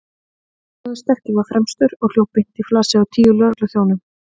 Gunnlaugur sterki var fremstur og hljóp beint í flasið á tíu lögregluþjónum.